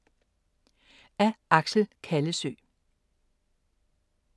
Af Axel Kallesøe